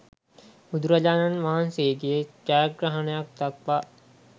බුදුරජාණන් වහන්සේගේ ජයග්‍රහණයක් දක්වා